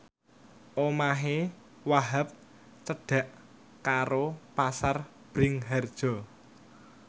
omahe Wahhab cedhak karo Pasar Bringharjo